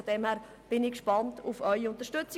Daher bin ich gespannt auf Ihre Unterstützung.